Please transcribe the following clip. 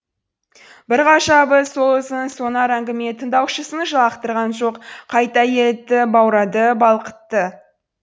бір ғажабы сол ұзын сонар әңгіме тыңдаушысын жалықтырған жоқ қайта елітті баурады балқытты